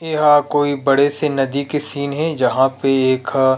इ ह कोई बड़े से नदी के सीन हे जहाँ पे एखा